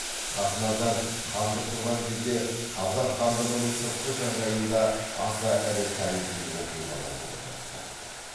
хақназар хандық құрған кезде қазақ хандығының сыртқы жағдайында аса ірі тарихи оқиғалар болып жатты